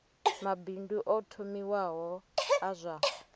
mabindu o thomiwaho a zwa